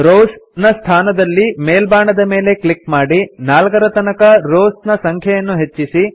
rows ನ ಸ್ಥಾನದಲ್ಲಿ ಮೇಲ್ಬಾಣದ ಮೇಲೆ ಕ್ಲಿಕ್ ಮಾಡಿ 4 ರ ತನಕ ರೋವ್ಸ್ ನ ಸಂಖ್ಯೆಯನ್ನು ಹೆಚ್ಚಿಸಿ